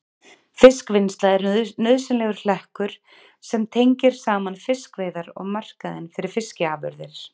Fiskvinnsla er nauðsynlegur hlekkur sem tengir saman fiskveiðar og markaðinn fyrir fiskafurðir.